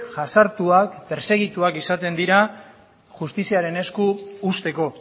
jazartuak pertsegituak izaten dira justiziaren esku uzteko